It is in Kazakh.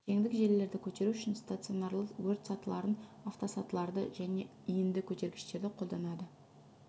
жеңдік желілерді көтеру үшін стационарлы өрт сатыларын автосатыларды және иінді көтергіштерді қолданады